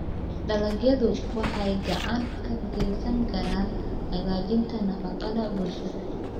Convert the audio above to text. Dalagyadu waxay gacan ka geysan karaan hagaajinta nafaqada bulshada.